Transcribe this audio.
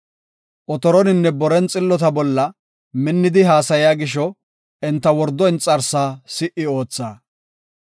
Otoroninne boren xillota bolla minnidi haasaya gisho, enta wordo inxarsaa si77i ootha.